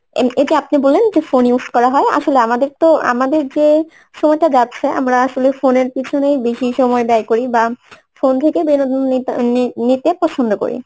এই এইযে আপনি বললেন যে phone use করা হয় আসলে আমাদের তো আমাদের যে সময়টা যাচ্ছে আমরা আসলে phone এর পিছনেই বেশি সময় ব্যায় করি বা phone থেকে বিনোদন নিত~ নি~ নিতে পছন্দ করি